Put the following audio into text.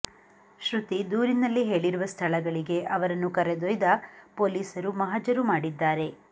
ಶ್ರುತಿ ದೂರಿನಲ್ಲಿ ಹೇಳಿರುವ ಸ್ಥಳಗಳಿಗೆ ಅವರನ್ನು ಕರೆದೊಯ್ದ ಪೊಲೀಸರು ಮಹಜರು ಮಾಡಿದ್ದಾರೆ